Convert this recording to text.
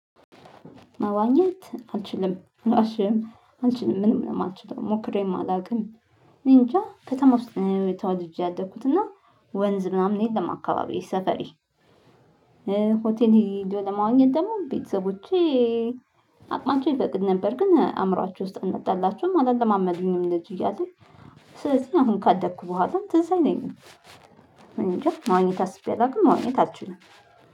መዋኘት አልችልም አልዋሽህም አልችልም ምንም ነው የማልችለው ሞክሬም አላውቅም። እኔ እንጃ ከተማ ውስጥ ነው ተወልጄ ያደኩትና ወንዝ ምናምን የለም። አካባቢ ሰፈሪ ሆቴል ሄዶ ለማዋኛት ደግሞ ቤተሰቦቼ አቅማቸው ይፈቅድ ነበር። ግን አእምሮአቸው ውስጥ አልመጣላቸሁም አላለማመዱኝም ልጅ እያለ ስለዚህ አሁን ካደኩ በኋላ ትዝ አይለኝም። እኔ እንጃ ማዋኘት አስቤ አላውቅም። ማዋኘት አልችልም